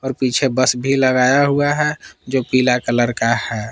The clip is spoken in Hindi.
पीछे बस भी लगाया हुआ है जो पीला कलर का है।